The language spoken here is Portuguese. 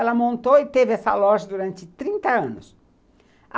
Ela montou e teve essa loja durante trinta anos.